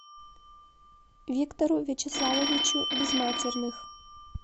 виктору вячеславовичу безматерных